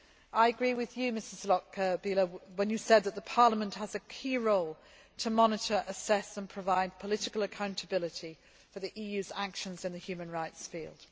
policy. I agree with Ms Lochbihler when she says that Parliament has a key role to monitor, assess and provide political accountability for the EU's actions in the human rights